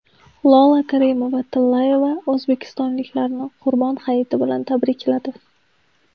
Lola Karimova-Tillayeva o‘zbekistonliklarni Qurbon hayiti bilan tabrikladi.